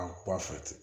An ba fɛ ten